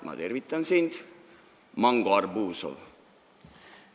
Ma tervitan sind, Mango Arbuzov!